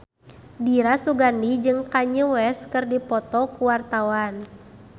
Dira Sugandi jeung Kanye West keur dipoto ku wartawan